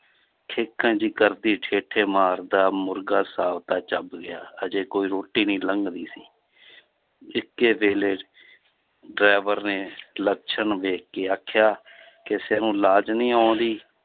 ਖੇਕਣ ਜਿਹੀ ਕਰਦੀ ਠੇਠੇ ਮਾਰਦਾ ਮੁਰਗਾ ਸਾਬਤਾ ਚੱਬ ਗਿਆ, ਹਜੇ ਕੋਈ ਰੋਟੀ ਨੀ ਲੰਘਦੀ ਸੀ ਇੱਕੇ ਵੇਲੇ 'ਚ driver ਨੇ ਲੱਛਣ ਵੇਖ ਕੇ ਆਖਿਆ ਕਿਸੇ ਨੂੰ ਲਾਜ ਨਹੀਂ ਆਉਂਦੀ